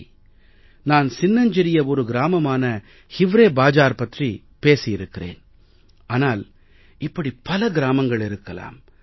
சரி நான் சின்னஞ்சிறிய ஒரு கிராமமான ஹிவ்ரே பாஜார் பற்றி பேசியிருக்கிறேன் ஆனால் இப்படி பல கிராமங்கள் இருக்கலாம்